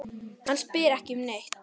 Hann spyr ekki um neitt.